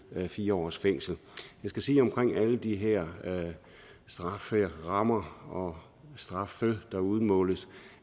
fire års fængsel jeg skal sige omkring alle de her strafferammer og straffe der udmåles